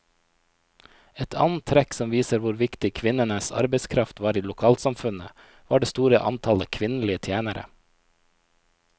Et annet trekk som viser hvor viktig kvinnenes arbeidskraft var i lokalsamfunnet, var det store antallet kvinnelige tjenere.